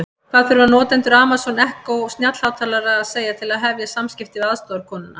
Hvað þurfa notendur Amazon Echo snjallhátalara að segja til að hefja samskipti við aðstoðarkonuna?